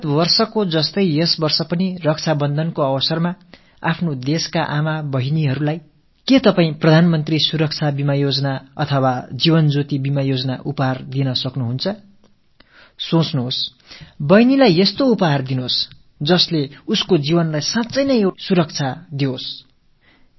கடந்த ஆண்டைப் போலவே இந்த ஆண்டும் ரக்ஷாபந்தன் காலகட்டத்தில் நாட்டின் தாய்மார்கள்சகோதரிகளுக்கு நீங்கள் பிரதம மந்திரி ஆயுள் காப்பீட்டுத் திட்டத்தையோ ஜீவன் ஜோதி ஆயுள் காப்பீட்டுத் திட்டத்தையோ பரிசாக அளிக்க முடியாதா சிந்தியுங்கள் சகோதரர்களே வாழ்க்கையில் உங்கள் சகோதரி உண்மையிலேயே பாதுகாப்பாக உணரக் கூடிய வகையில் ஒரு பரிசை அளியுங்கள்